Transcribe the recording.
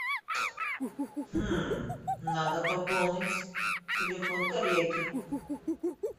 надо пополнить телефон коллеги